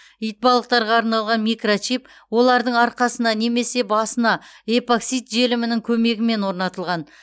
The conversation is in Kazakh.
итбалықтарға арналған микрочип олардың арқасына немесе басына эпоксид желімінің көмегімен орнатылған